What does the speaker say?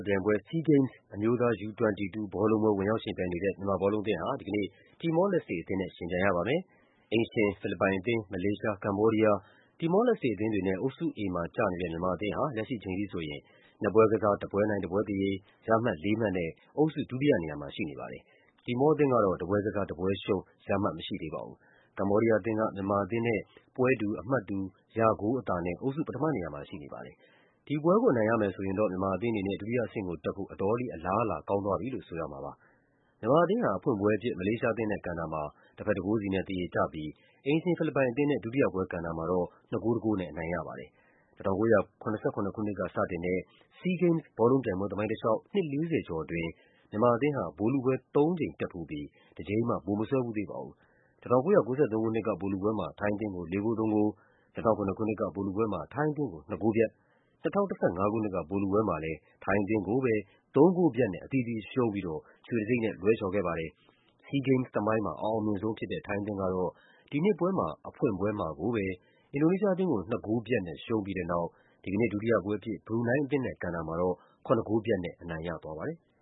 ပြိုင်ပွဲ အမျိုးသား U-22 ဘောလုံးပွဲ ဝင်ရောက်ယှဉ်ပြိုင်နေတဲ့ မြန်မာဘောလုံးအသင်းဟာ ဒီကနေ့ တီမော လက်စ်တေအသင်းနဲ့ ယှဉ်ပြိုင်ကစားရမှာဖြစ်ပါတယ်။ အိမ်ရှင် ဖိလစ်ပိုင်အသင်း၊ မလေးရှား၊ ကမ္ဘောဒီးယား၊ တီမော လက်စ်တေအသင်းတွေနဲ့ အုပ်စု A မှာကျနေတဲ့ မြန်မာအသင်း ဟာ လက်ရှိအချိန်ထိဆိုရင် ၂ ပွဲကစား၊ ၁ ပွဲနိုင်၊ ၁ ပွဲသရေ၊ ရမှတ် ၄ မှတ်နဲ့ အုပ်စု ဒုတိယနေရာမှာရှိနေပါတယ်။ တီမောအသင်း ကတော့ ၁ ပွဲကစား၊ ၁ ပွဲရှုံး ရမှတ်မရှိသေးပါဘူး။ ကမ္ဘောဒီးယားအသင်းက မြန်မာအသင်းနဲ့ ပွဲတူ အမှတ်တူ ရဂိုးအသာနဲ့ အုပ်စု ပထမနေရာမှာရှိနေပါတယ်။ ဒီပွဲကို အနိုင်ရမယ်ဆိုရင်တော့ မြန်မာအသင်းအနေနဲ့ ဒုတိယအဆင့်ကိုတက်ဖို့ အတော်လေး အလားအလာကောင်းသွားပြီလို့ ဆိုရမှာပါ။ မြန်မာအသင်းဟာ အဖွင့်ပွဲအဖြစ် မလေးရှားအသင်းနဲ့ကန်တာမှာ တဘက် ၁ ဂိုးစီနဲ့ သရေကျပြီး အိမ်ရှင် ဖိလစ်ပိုင်အသင်းနဲ့ ဒုတိယပွဲကန်တာမှာတော့ ၂ ဂိုး ၁ ဂိုးနဲ့ အနိုင်ရပါတယ်။ ၁၉၇၇ ခုနှစ်ကစတင်တဲ့ SEA Games ဘောလုံးပြိုင်ပွဲသမိုင်းတလျှောက် နှစ် ၄၀ ကျော်အတွင်း မြန်မာအသင်းဟာ ဗိုလ်လုပွဲ သုံးကြိမ်တက်ဖူးပြီး တကြိမ်မှ ဗိုလ်မစွဲဖူးသေးပါဘူး။ ၁၉၉၃ ခုနှစ်က ဗိုလ်လုပွဲမှာ ထိုင်းအသင်းကို ၄ ဂိုး ၃ ဂိုး၊ ၂၀၀၇ ခုနှစ်က ဗိုလ်လုပွဲမှာ ထိုင်းအသင်းကို ၂ ဂိုးပြတ်၊ ၂၀၁၅ ခုနှစ်က ဗိုလ်လုပွဲမှာလည်း ထိုင်းအသင်းကိုပဲ ၃ ဂိုးပြတ်နဲ့ ရှုံးပြီးတော့ ရွှေတံဆိပ်နဲ့ လွဲချော်ခဲ့ပါတယ်။ SEA Games သမိုင်းမှာ အအောင်မြင်ဆုံးဖြစ်တဲ့ ထိုင်းအသင်းဟာ ဒီနှစ်ပွဲမှာတော့ ဖွင့်ပွဲမှာကိုပဲ အင်ဒိုနီးရှားအသင်းကို ၂ ဂိုးပြတ်နဲ့ ရှုံးပြီးတဲ့နောက် ဒီကနေ့ ဒုတိယပွဲအဖြစ် ဘရူနိုင်းအသင်းနဲ့ ကန်တာမှာတော့ ၇ ဂိုးပြတ်နဲ့ အနိုင်ရသွားပါတယ်။